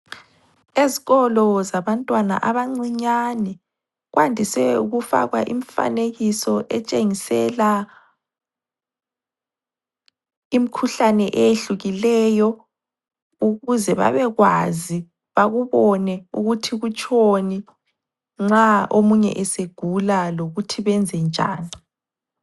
Ezikolo zabantwana abancinyane kwandise ukufakwa imifanekiso etshengisela imikhuhlane eyehlukileyo ukuze babekwazi bakubone ukuthi kutshoni nxa omunye esegula lokuthi benzenjani.